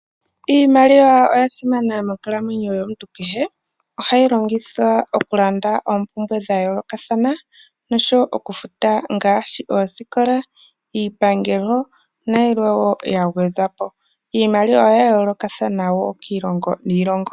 Iimaliwa oya simana monkalamweyo yomuntu kehe, ohayi longithwa okulanda oompumbwe dha yoolokathana noshowo okufuta ngaashi oosikola, iipangelo, nayilwe wo ya gwedhwa po. Iimaliwaoya yoolokathana wo kiilongo niilongo.